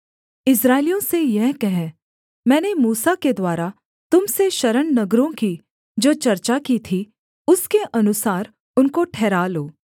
इस्राएलियों से यह कह मैंने मूसा के द्वारा तुम से शरण नगरों की जो चर्चा की थी उसके अनुसार उनको ठहरा लो